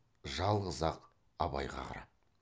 жалғыз ақ абайға қарап